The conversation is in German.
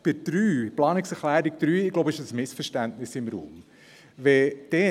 Bei der Planungserklärung 3 steht ein Missverständnis im Raum, glaube ich.